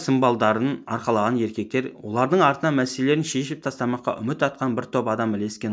сымбалдарын арқалаған еркектер олардың артынан мәселелерін шешіп тастамаққа үміт артқан бір топ адам ілескен